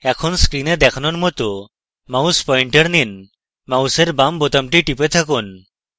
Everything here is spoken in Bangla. এখন screen দেখানোর মত mouse পয়েন্টার নিন মাউসের বাম বোতামটি টিপে থাকুন